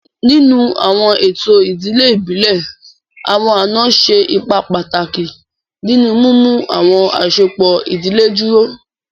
Ninu awọn eto idile ibile, awọn ana ṣe ipa pataki ninu mimu awọn asopọ idile duro.